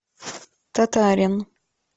татарин